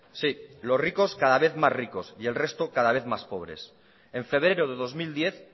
sí los ricos cada vez más ricos y el resto cada vez más pobres en febrero de dos mil diez